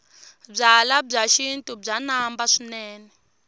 byalwa bya xintu bya namba swinene